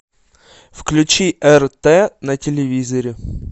включи рт на телевизоре